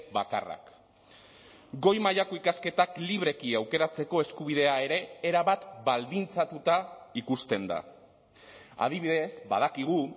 bakarrak goi mailako ikasketak libreki aukeratzeko eskubidea ere erabat baldintzatuta ikusten da adibidez badakigu